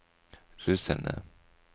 russerne